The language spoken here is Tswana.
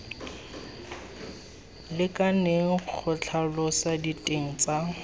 lekaneng go tlhalosa diteng tsa